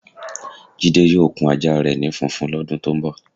Jide yóò kun ajá re̩ ni funfun ló̩dun tó ń bò̩.